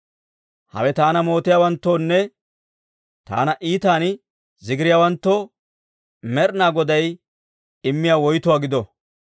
Hawe taana mootiyaawanttoonne taana iitan zigiriyaawanttoo, Med'inaa Goday immiyaa woytuwaa gido!